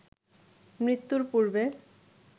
মৃত্যুর পূর্বে